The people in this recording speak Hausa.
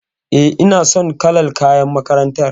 E, ina son kalar kayan makarantar.